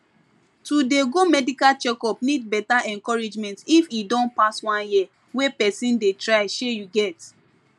to dey go medical checkup need better encouragement if e don pass one year wey person dey try shey you get